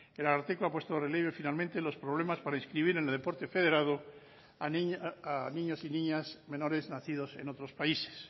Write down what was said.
el ararteko ha puesto de relieve finalmente los problemas para inscribir en el deporte federado a niños y niñas menores nacidos en otros países